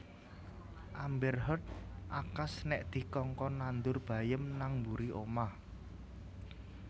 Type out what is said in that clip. Amber Heard akas nek dikongkon nandur bayem nang mburi omah